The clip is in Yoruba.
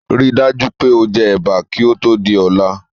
Ríi dájú pé o je Ẹ̀bà kí ó Tóò di ọ̀la